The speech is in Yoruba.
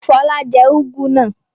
Fọlá jẹ úgú náà?